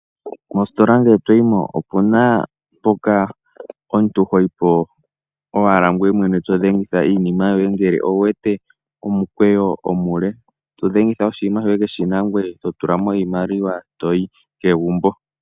Mositola ngele to yimo opu na mpoka omuntu ho yipo owala ngoye mwene to dhengitha iinima yoye ngele owu wete omukweyo omule to dhengitha oshinima shoye keshina ngoye to tulamo oshimaliwa ngoye to yi kegumbo.